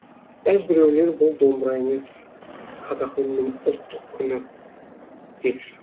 бәзбіреулер бұл домбыра емес қазақы үннің ұлттық күні деп жүр